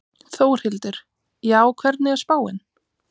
Þórhildur: Já, hvernig er spáin?